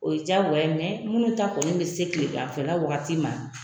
O ye jagoya ye. munnu ta kɔni be se kileganfɛ la wagati ma